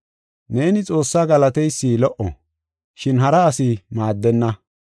Neeni Xoossaa galateysi lo77o, shin hara asi maaddenna.